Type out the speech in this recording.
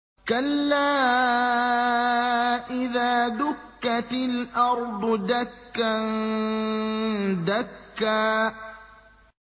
كَلَّا إِذَا دُكَّتِ الْأَرْضُ دَكًّا دَكًّا